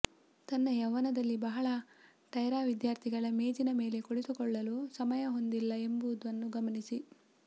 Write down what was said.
ತನ್ನ ಯೌವನದಲ್ಲಿ ಬಹಳ ಟೈರಾ ವಿದ್ಯಾರ್ಥಿಗಳ ಮೇಜಿನ ಮೇಲೆ ಕುಳಿತುಕೊಳ್ಳಲು ಸಮಯ ಹೊಂದಿಲ್ಲ ಎಂಬುದನ್ನು ಗಮನಿಸಿ